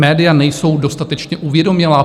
Média nejsou dostatečně uvědomělá?